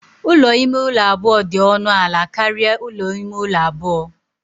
Ụlọ ime ụlọ abụọ dị ọnụ ala karịa ụlọ ime ụlọ abụọ